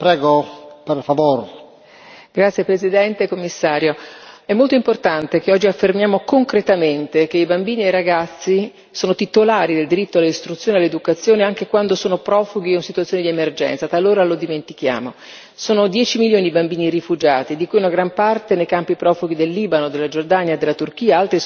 Signor Presidente, onorevoli colleghi, signor Commissario, è molto importante che oggi affermiamo concretamente che i bambini e i ragazzi sono titolari del diritto all'istruzione e all'educazione anche quando sono profughi o in situazioni di emergenza talora lo dimentichiamo. Sono 10 milioni i bambini rifugiati, di cui una gran parte nei campi profughi del Libano, della Giordania, della Turchia,